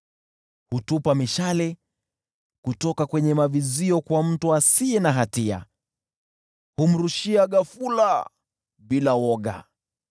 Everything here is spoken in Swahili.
Hurusha mishale kutoka kwenye mavizio kwa mtu asiye na hatia, humrushia ghafula bila woga.